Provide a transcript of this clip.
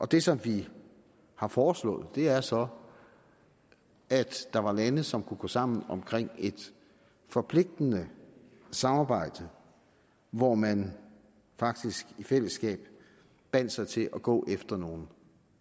det som vi har foreslået er så at der var lande som kunne gå sammen om et forpligtende samarbejde hvor man faktisk i fællesskab bandt sig til at gå efter nogle